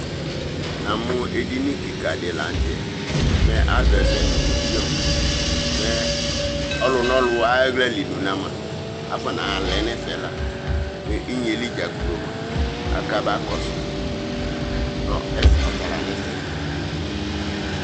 Namʋ edini kikadï la n'tɛ mɛ àzɔ ɛfɛ nʋ mizion mɛ ɔlʋnɔlʋ ay'aɣla lʋna mua afɔ naalɛ n'ɛfɛ la mɛ inyeyɛli dzaa gblɔ mʋa akana kɔdʋ, ɔtala n'ɛfɛ